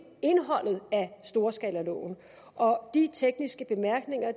indholdet af storskalaloven og de tekniske bemærkninger